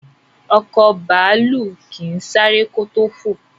Ọkọ̀ bàálù kín sáré kò to fọ.